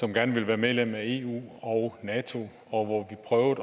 gerne ville være medlem af eu og nato og hvor vi prøvede